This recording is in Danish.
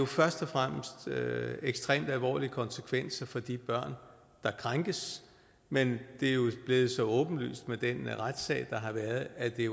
først og fremmest ekstremt alvorlige konsekvenser for de børn der krænkes men det er jo blevet så åbenlyst med den retssag der har været at det